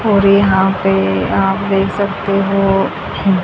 और यहां पे आप देख सकते हो--